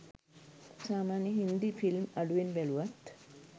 සාමාන්‍යයෙන් හින්දි ෆිල්ම් අඩුවෙන් බැලුවත්